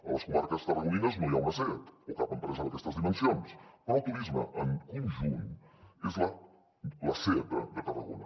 a les comarques tarragonines no hi ha una seat o cap empresa d’aquestes dimensions però el turisme en conjunt és la seat de tarragona